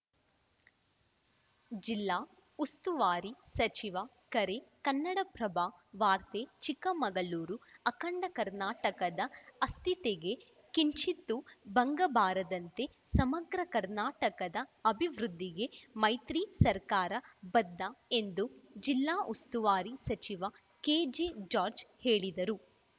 ಜಿಲ್ಲಾ ಉಸ್ತುವಾರಿ ಸಚಿವ ಕರೆ ಕನ್ನಡಪ್ರಭ ವಾರ್ತೆ ಚಿಕ್ಕಮಗಳೂರು ಅಖಂಡ ಕರ್ನಾಟಕದ ಅಸ್ಥಿತೆಗೆ ಕಿಂಚಿತ್ತೂ ಭಂಗಬಾರದಂತೆ ಸಮಗ್ರ ಕರ್ನಾಟಕದ ಅಭಿವೃದ್ಧಿಗೆ ಮೈತ್ರಿ ಸರ್ಕಾರ ಬದ್ಧ ಎಂದು ಜಿಲ್ಲಾ ಉಸ್ತುವಾರಿ ಸಚಿವ ಕೆಜೆಜಾರ್ಜ್ ಹೇಳಿದರು